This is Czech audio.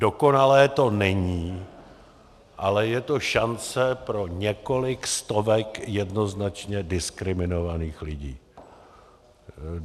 Dokonalé to není, ale je to šance pro několik stovek jednoznačně diskriminovaných lidí.